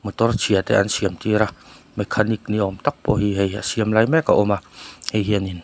motor chhia te an siam tir a mechanic ni awm tak pawh hi hei a siam lai mek a awm a hei hianin--